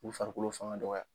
U be farikolo faŋa dɔgɔya.